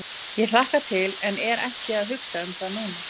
Ég hlakka til en er ekki að hugsa um það núna.